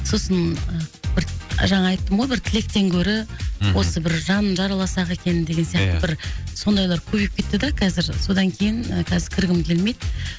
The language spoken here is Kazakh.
сосын бір жаңа айттым ғой бір тілектен гөрі мхм осы бір жанын жараласақ екен деген сияқты ия бір сондайлар көбейіп кетті де қазір содан кейін қазір кіргім келмейді